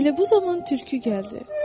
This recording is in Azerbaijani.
Elə bu zaman tülkü gəldi.